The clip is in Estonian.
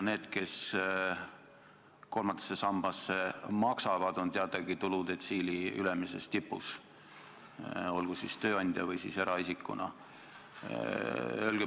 Need, kes kolmandasse sambasse maksavad, on teadagi tuludetsiili ülemises tipus, olgu siis tööandja või eraisikuna.